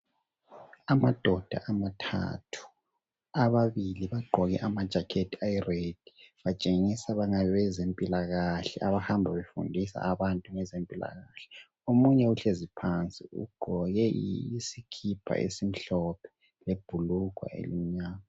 Amadoda amathathu .ababili bagqoke amajacket ayired. Batshengisa bengabe zempilakahle abahamba befundisa abantu ngezempilakahle .Omunye uhlezi phansi ugqoke isikipa esimhlophe lebhulugwa elimnyama.